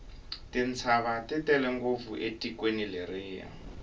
tintshava ti tele ngopfu etikweni leriya